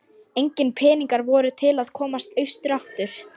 Engir peningar voru til að komast austur aftur.